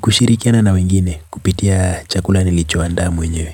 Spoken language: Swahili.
kushirikiana na wengine kupitia chakula nilicho anda mu nyewe.